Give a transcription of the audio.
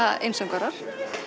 einsöngvarar